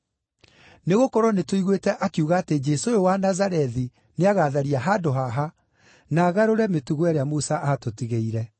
Nĩgũkorwo nĩtũiguĩte akiuga atĩ Jesũ ũyũ wa Nazarethi nĩagatharia handũ haha, na agarũre mĩtugo ĩrĩa Musa aatũtigĩire.”